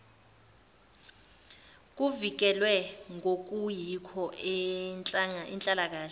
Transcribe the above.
kuvikelwe ngokuyikho inhlalakahle